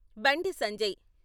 Bandi Sanjay...